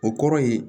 O kɔrɔ ye